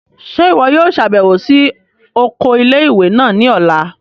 Ṣe iwọ yoo ṣabẹwo si oko ile-iwe naa ni ọla?